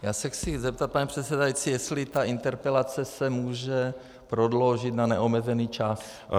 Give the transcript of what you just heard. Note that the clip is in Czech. Já se chci zeptat, pane předsedající, jestli ta interpelace se může prodloužit na neomezený čas.